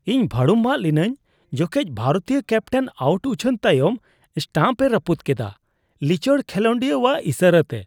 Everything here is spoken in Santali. ᱤᱧ ᱵᱷᱟᱹᱲᱩᱢᱵᱟᱜ ᱞᱤᱱᱟᱹᱧ ᱡᱚᱠᱷᱮᱡ ᱵᱷᱟᱨᱚᱛᱤᱭᱟᱹ ᱠᱮᱯᱴᱮᱱ ᱟᱹᱣᱩᱴ ᱩᱪᱷᱟᱹᱱ ᱛᱟᱭᱚᱢ ᱥᱴᱟᱢᱯ ᱮ ᱨᱟᱹᱯᱩᱫ ᱠᱮᱫᱟ, ᱞᱤᱪᱟᱹᱲ ᱠᱷᱮᱞᱚᱰᱤᱭᱟᱹᱣᱟᱜ ᱤᱥᱟᱹᱨᱟᱛᱮ ᱾